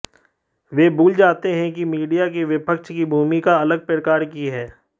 वह भूल जाते हैं कि मीडिया की विपक्ष की भूमिका अलग प्रकार की है